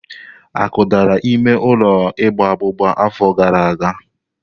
Akụdara ime ụlọ igba abụba afọ gara aga.